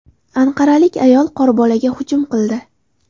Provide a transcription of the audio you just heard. Anqaralik ayol qorbolaga hujum qildi.